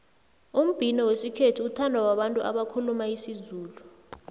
umbhino wesikhethu uthandwa babantu abakhuluma isizulu